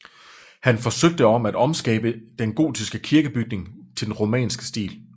Han forsøgte om at omskabe den gotiske kirkebygning til den romanske stil